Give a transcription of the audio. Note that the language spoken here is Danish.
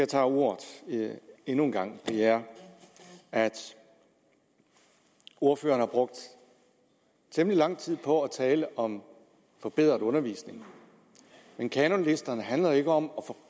tager ordet endnu en gang er at ordføreren har brugt temmelig lang tid på at tale om forbedret undervisning men kanonlisterne handler ikke om